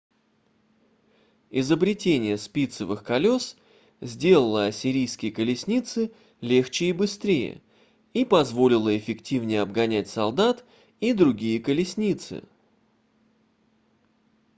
изобретение спицевых колес сделало ассирийские колесницы легче и быстрее и позволило эффективнее обгонять солдат и другие колесницы